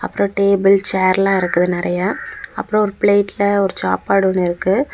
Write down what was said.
அப்புறம் டேபிள் சேர்லாம் இருக்குது நெறையா . அப்புறம் ஒரு பிலேட்ல ஒரு சாப்பாடு ஒன்னு இருக்கு.